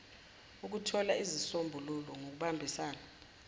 ukuthola izisombululo ngokubambisana